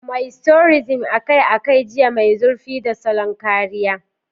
Moisturizing akai-akai, jiyya mai zurfi, da salon kariya.